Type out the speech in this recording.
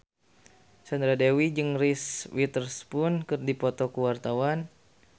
Sandra Dewi jeung Reese Witherspoon keur dipoto ku wartawan